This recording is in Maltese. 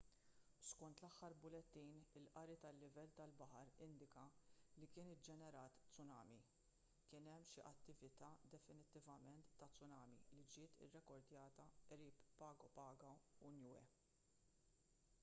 skont l-aħħar bulettin il-qari tal-livell tal-baħar indika li kien iġġenerat tsunami kien hemm xi attività definittivament ta' tsunami li ġiet irrekordjata qrib pago pago u niue